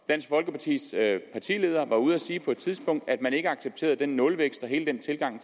dansk folkepartis partileder var ude at sige på et tidspunkt at man ikke accepterede den nulvækst og hele den tilgang